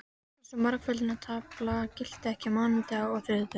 Eins og margföldunartaflan gilti ekki á mánudögum og þriðjudögum.